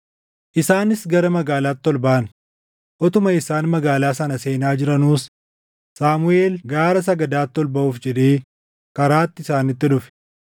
Isaanis gara magaalaatti ol baʼan; utuma isaan magaalaa sana seenaa jiranuus Saamuʼeel gaara sagadaatti ol baʼuuf jedhee karaatti isaanitti dhufe.